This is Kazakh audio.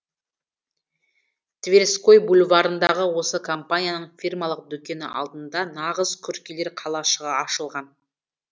тверской бульварындағы осы компанияның фирмалық дүкені алдында нағыз күркелер қалашығы ашылған